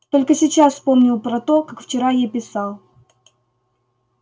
только сейчас вспомнил про то как вчера ей писал